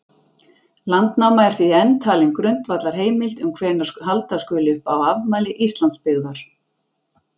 Landnáma er því enn talin grundvallarheimild um hvenær halda skuli upp á afmæli Íslandsbyggðar.